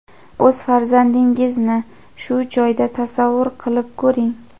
o‘z farzandingizni shu joyda tasavvur qilib ko‘ring.